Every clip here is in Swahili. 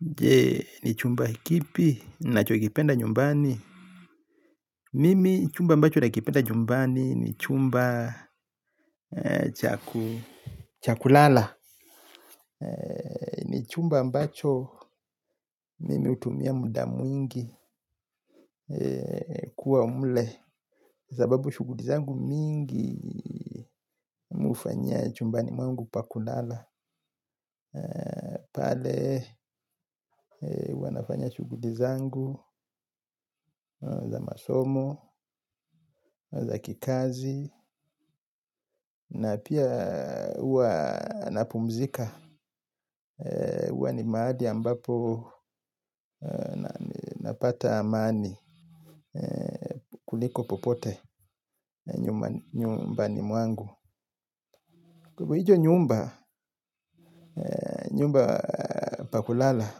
Jee ni chumba kipi nacho kipenda nyumbani. Mimi chumba ambacho na kipenda nyumbani ni chumba chaku Chakulala. Ni chumba ambacho mimi hutumia muda mwingi kuwa mle. Zababu shuguli zangu mingi. Mihufanyia chumbani mwangu pakulala pale wanafanya shuguli zangu za masomo, za kikazi na pia huwa na pumzika huwa ni mahali ambapo napata amani kuliko popote nyumbani mwangu kwahivo hicho nyumba pakulala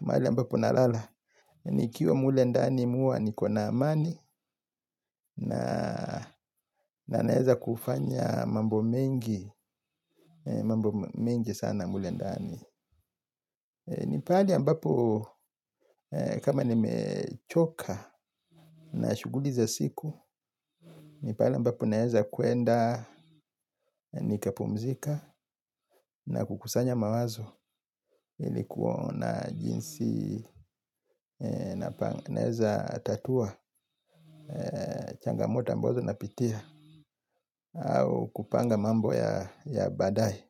mahali ambapo nalala ni kiwa mule ndani mihuwa nikona amani. Na naeza kufanya mambo mengi sana mulendani. Nipahali ambapo kama nimechoka na shuguli za siku. Nipahali ambapo naeza kuenda nikapumzika na kukusanya mawazo. Ilikuona jinsi naeza tatua changamoto ambazo na pitia. Au kupanga mambo ya baadae.